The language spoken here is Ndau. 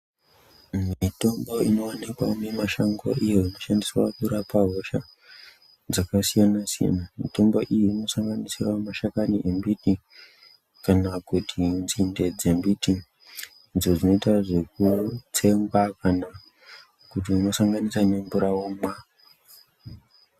Mitombo inowanikwa mimashango iyo inoshandiswa kurapa hosha dzakasiyana-siyana. Mitombo iyi inosanganisira mashani embiti kana nzinde dzembiti idzo dzinoita zvekutsengwa kana kuti unosanganisa nemvura womwa.